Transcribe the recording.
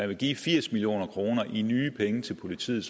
vil give firs million kroner i nye penge til politiet